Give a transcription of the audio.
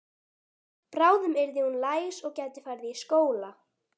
Bráðum yrði hún læs og gæti farið í skóla.